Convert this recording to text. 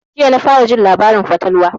Jiya na fara jin labarin fatalwa